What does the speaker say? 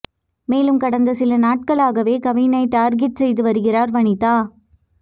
மேலும் கடந்த சில நாட்களாகவே கவினை டார்கெட் செய்து வருகிறார் வனிதா